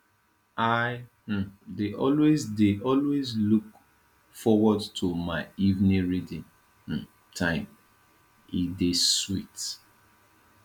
i um dey always dey always look forward to my evening reading um time e dey sweet